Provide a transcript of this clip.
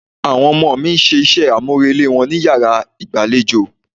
Àwọn ọmọ mi ń ṣe iṣẹ́ àmúrelé wọn ní yàrá ìgbàlejò.